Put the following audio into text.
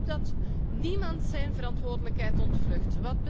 Ik hoop dat niemand zijn verantwoordelijkheid ontvlucht.